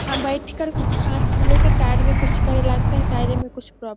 यहां बैठ कर कुछ हाथ से लेकर टायर में कुछ करे ला लगता है कुछ टायरे में कुछ प्रोब्लम --